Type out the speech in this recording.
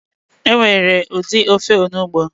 Enwere udi ofe onugbo